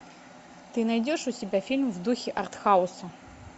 ты найдешь у себя фильм в духе артхауса